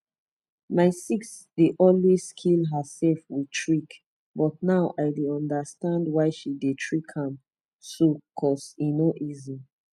my sis dey always kill herself with trick but now i dey understand why she dey trick am so cause e no easy